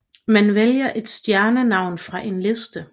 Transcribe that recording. Man vælger et stjernenavn fra en liste